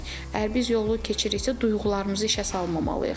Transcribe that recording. Əgər biz yolu keçiriksə, duyğularımızı işə salmamalıyıq.